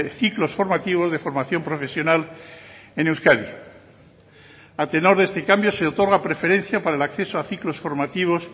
ciclos formativos de formación profesional en euskadi a tenor de este cambio se otorga preferencia para el acceso a ciclos formativos